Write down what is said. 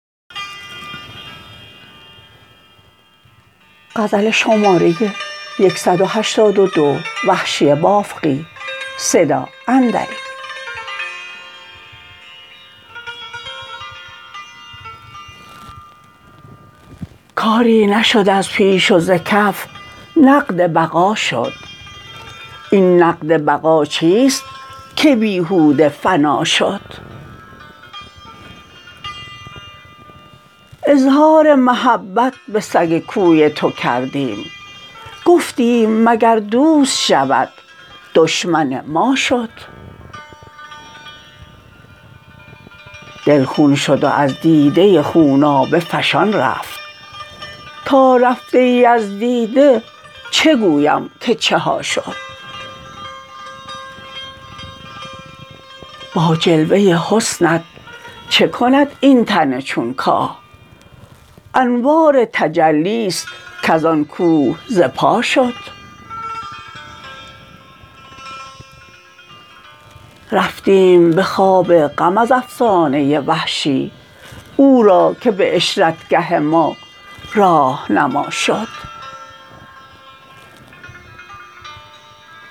کاری نشد از پیش و ز کف نقد بقا شد این نقد بقا چیست که بیهوده فنا شد اظهار محبت به سگ کوی تو کردیم گفتیم مگر دوست شود دشمن ما شد دل خون شد و از دیده خونابه فشان رفت تا رفته ای از دیده چه گویم که چه ها شد با جلوه حسنت چه کند این تن چون کاه انوار تجلیست کزان کوه ز پا شد رفتیم به خواب غم از افسانه وحشی او را که به عشرتگه ما راهنما شد